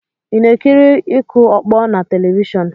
Ị na-ekiri ịkụ ọkpọ na telivishọn?